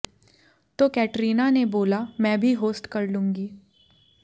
तो कैटरीना ने बोला मैं भी होस्ट कर लूंगी